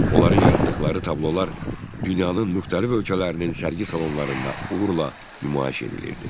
Onların yaratdıqları tablolar dünyanın müxtəlif ölkələrinin sərgi salonlarında uğurla nümayiş edilirdi.